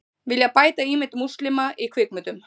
Vilja bæta ímynd múslima í kvikmyndum